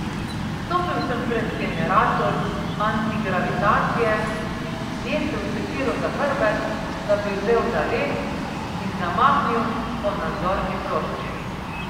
Stopil sem pred generator antigravitacije, nesel sekiro za hrbet, da bi vzel zalet, in zamahnil po nadzorni plošči.